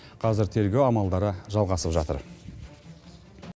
қазір тергеу амалдары жалғасып жатыр